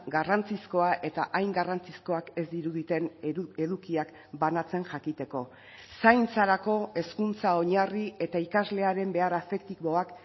garrantzizkoa eta hain garrantzizkoak ez diruditen edukiak banatzen jakiteko zaintzarako hezkuntza oinarri eta ikaslearen behar afektiboak